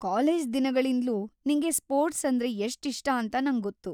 College ದಿನಗಳಿಂದ್ಲೂ ನಿಂಗೆ sports ಅಂದ್ರೆ ಎಷ್ಟ್‌ ಇಷ್ಟ ಅಂತ ನಂಗೊತ್ತು.